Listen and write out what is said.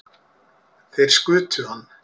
Þeir skutu hann